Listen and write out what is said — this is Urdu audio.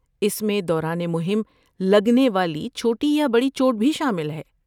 اس میں دوران مہم لگنے والی چھوٹی یا بڑی چوٹ بھی شامل ہے۔